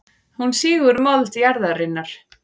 Hún sýgur mold jarðarinnar.